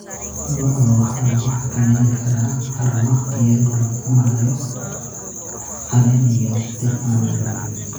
Lo'da waxaa lagu xakameyn karaa haramaha iyadoo la cunayo caleen iyo dhir aan la rabin.